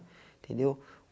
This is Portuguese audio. Entendeu?